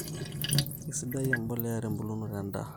Kisaidia emboleya ebulunoto endaa